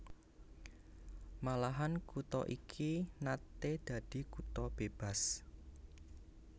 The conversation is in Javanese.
Malahan kutha iki naté dadi kutha bébas